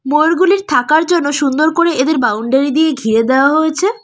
ময়ূরগুলির থাকার জন্য সুন্দর করে এদের বাউন্ডারি দিয়ে ঘিরে দেওয়া হয়েছে।